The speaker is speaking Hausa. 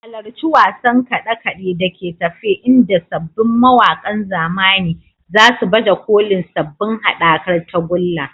Halarci wasan kade-kade da ke tafe inda sabbin mawakan zamani za su baje kolin sabbin haɗakar tagulla.